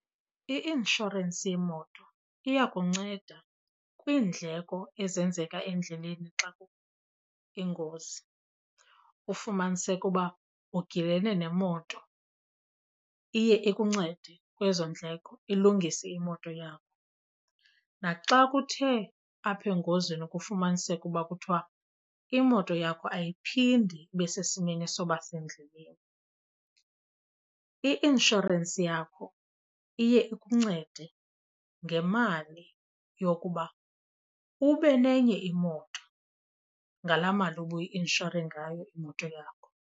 I-inshorensi yemoto iyakunceda kwiindleko ezenzeka endleleni xa ingozi ufumaniseke uba ugilene nemoto. Iye ikuncede kwezo ndleko, ilungise imoto yakho. Naxa kuthe apha engozini kufumaniseke uba kuthiwa imoto yakho ayiphindi ibe sesimeni soba sendleleni, i-inshorensi yakho iye ikuncede ngemali yokuba ube nenye imoto ngalaa mali ubuyi-inshore ngayo imoto yakho.